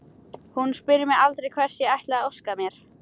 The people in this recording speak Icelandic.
Hún spyr mig aldrei hvers ég ætli að óska mér.